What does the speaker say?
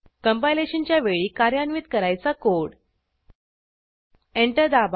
कंपायलेशनच्या वेळी कार्यान्वित करायचा कोड एंटर दाबा